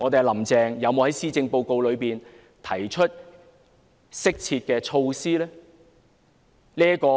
"林鄭"有否在施政報告提出適切的措施呢？